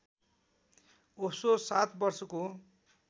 ओशो सात वर्षको